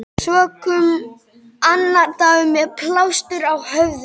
Svo kom annar dagur- með plástur á höfði.